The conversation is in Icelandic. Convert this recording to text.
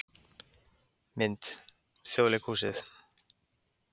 Mynd: Þjóðleikhúsið